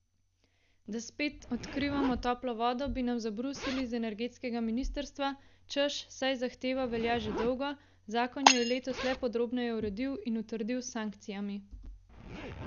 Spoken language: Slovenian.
Da spet odkrivamo toplo vodo, bi nam zabrusili z energetskega ministrstva, češ, saj zahteva velja že dolgo, zakon jo je letos le podrobneje uredil in utrdil s sankcijami.